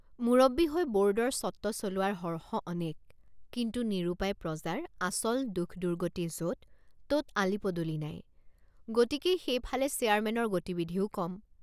মূৰব্বী হৈ বোৰ্ডৰ স্বত্ব চলোৱাৰ হৰ্ষ অনেক কিন্তু নিৰুপায় প্ৰজাৰ আচল দুখদুৰ্গতি যততত আলিপদূলি নাই গতিকেই সেইফালে চেয়াৰমেনৰ গতিবিধিও কম।